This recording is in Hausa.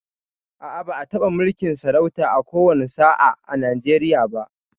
A'a, ba'a taɓa mulkin sarauta a ko wani sa'a a Nijeriya ba